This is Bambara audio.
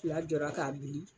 Fila jɔra k'a bili,